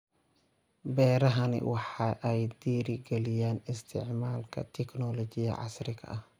Beerahani waxa ay dhiiri galiyaan isticmaalka tignoolajiyada casriga ah.